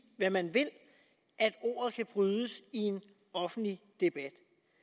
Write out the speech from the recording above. hvad man vil at ordet kan brydes i en offentlig debat